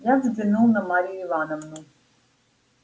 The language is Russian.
я взглянул на марью ивановну